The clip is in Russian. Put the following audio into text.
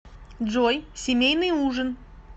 джой семейный ужин